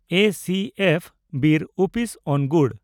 ᱮᱹᱥᱤᱹᱮᱯᱷᱹ ᱵᱤᱨ ᱩᱯᱤᱥ ᱚᱱᱜᱩᱲ